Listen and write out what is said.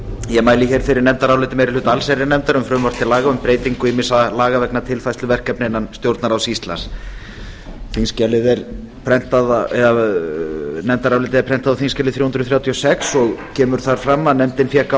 ég mæli fyrir nefndaráliti meiri hluta allsherjarnefndar um frumvarp til laga um breytingu ýmissa laga vegna tilfærslu verkefna innan stjórnarráðs íslands nefndarálitið er prentað á þingskjali þrjú hundruð þrjátíu og sex og kemur þar fram að nefndin fékk